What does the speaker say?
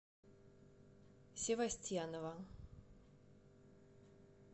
севостьянова